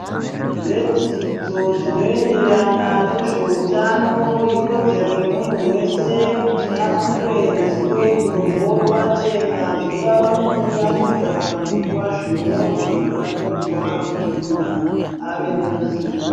Zvedzidzo zvinoenderana nezveutano ikodzero yemunhu wese kuti apuwe ruzivo irworwo pachena. Zvingava mukuunganidzwa kana kupuwa zvinyorwa zbakanyorwa kuti muntu ave neruzivo.